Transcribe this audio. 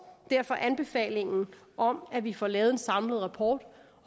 derfor anbefalingen om at vi får lavet en samlet rapport og